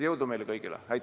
Jõudu meile kõigile!